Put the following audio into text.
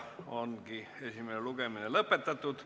Esimene lugemine ongi lõpetatud.